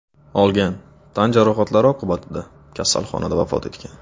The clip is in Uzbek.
olgan tan jarohatlari oqibatida kasalxonada vafot etgan.